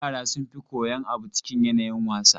Yara sun fi koyan abu cikin yanayin wasa.